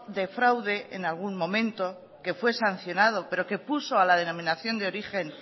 de fraude en algún momento que fue sancionado pero que puso a la denominación de origen